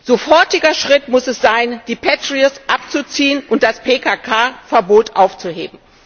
Sofortiger Schritt muss es sein, die Patriots abzuziehen und das PKK Verbot aufzuheben.